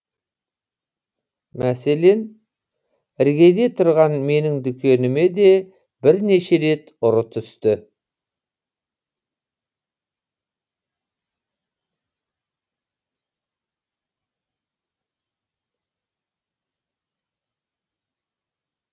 мәселен іргеде тұрған менің дүкеніме де бірнеше рет ұры түсті